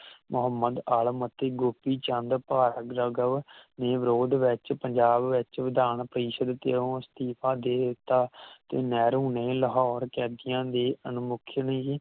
ਮੋਹਮਦ ਆਲਮ ਤੇ ਗੋਪੀ ਚੰਦ ਭਾਰਤ ਜਾਗੋ ਦੀ ਵਿਰੋਧ ਵਿਚ ਪੰਜਾਬ ਵਿਚ ਵਿਧਾਨਪਾਰਿਸ਼ਦ ਉਤੇ ਇਸਤੀਫ਼ਾ ਦੇ ਦਿਤਾ ਤੇ ਨਹਿਰੂ ਨੇ ਲਾਹੌਰ ਕੈਦੀਆਂ ਦੇ ਅਨੁਮੁਖ ਵੀ